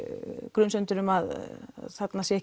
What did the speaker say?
grunsemdir um að þarna sé